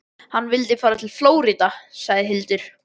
Hann vildi fara til Flórída, sagði Hildur.